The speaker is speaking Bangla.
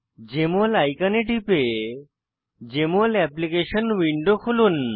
জেএমএল আইকনে টিপে জেএমএল অ্যাপ্লিকেশন উইন্ডো খুলুন